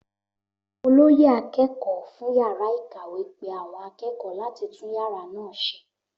Olóyè akẹ́kọ̀ọ́ fún yàrá ìkàwé pe àwọn akẹ́kọ̀ọ́ láti tún yàrá náà ṣe